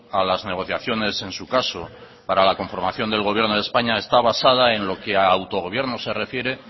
a las negociaciones en su caso para la conformación del gobierno de españa está basado en lo que a autogobierno se refiere